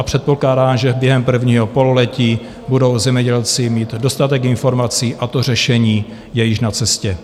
A předpokládám, že během prvního pololetí budou zemědělci mít dostatek informací, a to řešení je již na cestě.